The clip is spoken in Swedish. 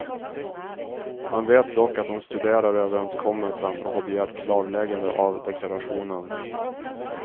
Man vet dock att de studerar överenskommelsen och har begärt klarläggande av deklarationen.